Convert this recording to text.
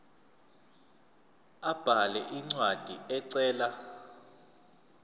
abhale incwadi ecela